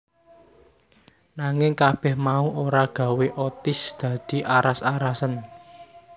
Nanging kabeh mau ora gawé Otis dadi aras arasen